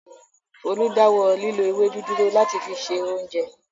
Folú dáwọ́ lílo ewédú dúró láti fi se oúnjẹ.